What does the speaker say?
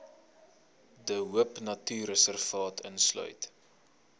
de hoopnatuurreservaat insluit